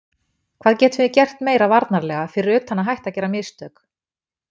Hvað getum við gert meira varnarlega fyrir utan að hætta að gera mistök?